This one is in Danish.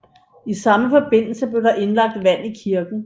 I samme forbindelse blev der indlagt vand i kirken